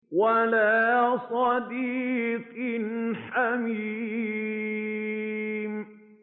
وَلَا صَدِيقٍ حَمِيمٍ